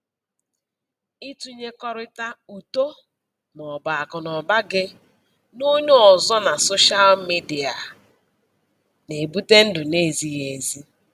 Ịtụnyekọrịta uto maọbụ akụnụba gị na onye ọzọ na soshịal midia na-ebute ndụ n'ezighị ezi